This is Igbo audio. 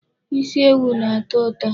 Isi ewu na-atọ ụtọ.